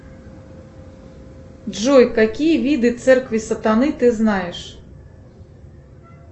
джой какие виды церкви сатаны ты знаешь